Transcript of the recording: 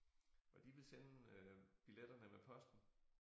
Og de ville sende øh biletterne med posten